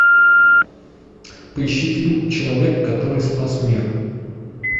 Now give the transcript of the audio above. поищи фильм человек который спас мир